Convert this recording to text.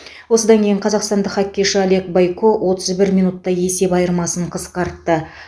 осыдан кейін қазақстандық хоккейші олег бойко отыз бір минутта есеп айырмасын қысқартты